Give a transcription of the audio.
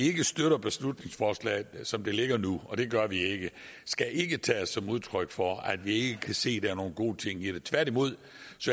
ikke støtter beslutningsforslaget som det ligger nu og det gør vi ikke skal ikke tages som udtryk for at vi ikke kan se at der er nogle gode ting i det tværtimod